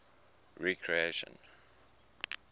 recreation